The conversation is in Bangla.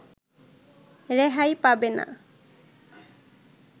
রেহাই পাবে না